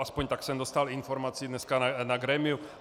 Aspoň tak jsem dostal informaci dneska na grémiu.